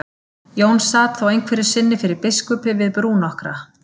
Jón sat þá einhverju sinni fyrir biskupi við brú nokkra.